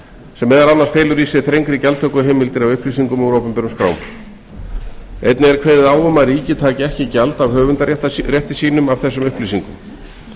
sem meðal annars felur í sér þrengri gjaldtökuheimildir af upplýsingum úr opinberum skrám einnig er kveðið á um að ríkið taki ekki gjald af höfundarétti sínum af þessum upplýsingum